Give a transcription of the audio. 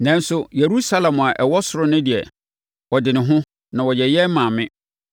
Nanso, Yerusalem a ɛwɔ ɔsoro no deɛ, ɛde ne ho na ɔyɛ yɛn maame.